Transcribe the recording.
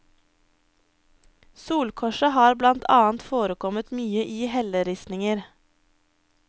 Solkorset har blant annet forekommet mye i helleristninger.